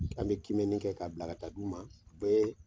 An bɛ kimɛni kɛ k'a bila ka taa di u ma, bɛɛ